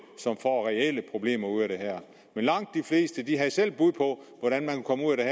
som får reelle problemer ud af det her men langt de fleste havde selv et bud på hvordan de kan komme ud af